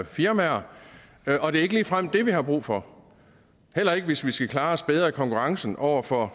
firmaer og det er ikke ligefrem det vi har brug for heller ikke hvis vi skal klare os bedre i konkurrencen over for